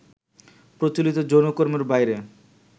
প্রচলিত যৌনকর্মের বাইরে